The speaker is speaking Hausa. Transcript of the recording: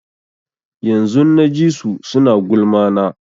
Yanzun na ji su suna gulma na